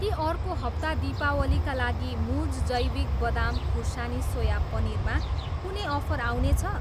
के अर्को हप्ता दीपावलीका लागि मुज जैविक बदाम खुर्सानी सोया पनिर मा कुनै अफर आउनेछ?